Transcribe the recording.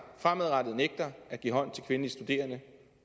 fremadrettet nægter at give hånd til kvindelige studerende